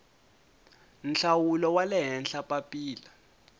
nhlawulo wa le henhla papila